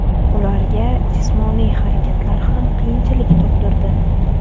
Ularga jismoniy harakatlar ham qiyinchilik tug‘dirdi.